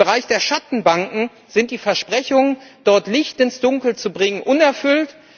Im Bereich der Schattenbanken sind die Versprechungen, dort Licht ins Dunkel zu bringen, unerfüllt.